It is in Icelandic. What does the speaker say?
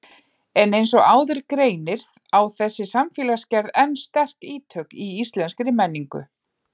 En eins og áður greinir á þessi samfélagsgerð enn sterk ítök í íslenskri menningu.